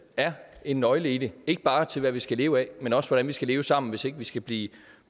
er en nøgle til det ikke bare til hvad vi skal leve af men også hvordan vi skal leve sammen hvis ikke vi skal blive